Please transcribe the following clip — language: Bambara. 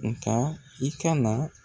Nga i ka na